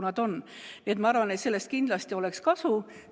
Nii et ma arvan, et sellest kindlasti oleks kasu.